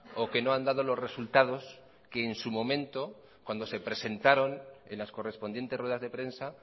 o que no han dado los resultados que en su momento cuando se presentaron en las correspondientes ruedas de prensa